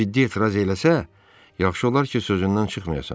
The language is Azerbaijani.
Ciddi etiraz eləsə, yaxşı olar ki, sözündən çıxmayasan.